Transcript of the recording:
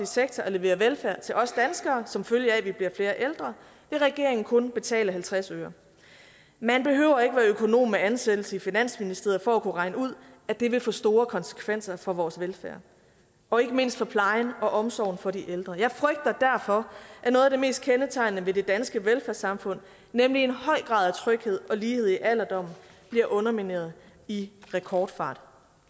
sektor at levere velfærd til os danskere som følge af at vi bliver flere ældre vil regeringen kun betale halvtreds øre man behøver økonom med ansættelse i finansministeriet for at kunne regne ud at det vil få store konsekvenser for vores velfærd og ikke mindst for plejen og omsorgen for de ældre jeg frygter derfor at noget af det mest kendetegnende ved det danske velfærdssamfund nemlig en høj grad af tryghed og lighed i alderdommen bliver undermineret i rekordfart